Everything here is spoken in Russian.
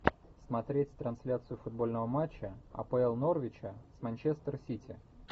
смотреть трансляцию футбольного матча апл норвича с манчестер сити